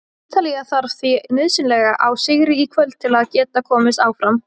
Ítalía þarf því nauðsynlega á sigri í kvöld til að geta komist áfram.